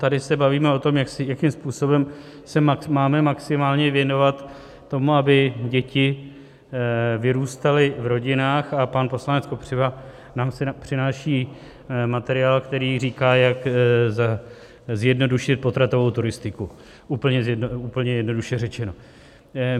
Tady se bavíme o tom, jakým způsobem se máme maximálně věnovat tomu, aby děti vyrůstaly v rodinách, a pan poslanec Kopřiva nám přináší materiál, který říká, jak zjednodušit potratovou turistiku, úplně jednoduše řečeno.